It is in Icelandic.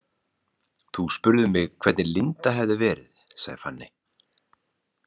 Þú spurðir mig hvernig Linda hefði verið, sagði Fanney.